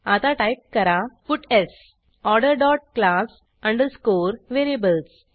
आता टाईप करा puts order dot class underscore variables